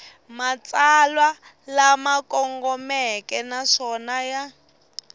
matsalwa lama kongomeke naswona ya